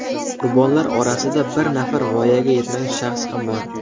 Qurbonlar orasida bir nafar voyaga yetmagan shaxs ham bor.